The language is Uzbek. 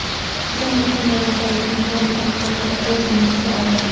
Hujum uchun javobgarlikni "Tolibon" harakati o‘z zimmasiga oldi.